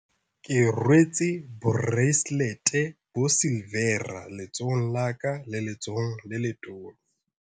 Ke rwetse boreiselete e silivera letsohong la ka le letsohong le letona.